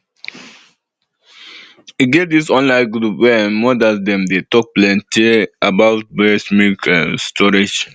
e get this online group wey ehm mothers dem dey talk plenty um about breast milk um storage